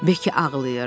Bekki ağlayırdı.